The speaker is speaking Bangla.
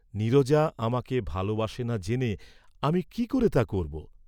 নীরজা আমাকে ভাল বাসে না জেনে আমি কি করে তা করব?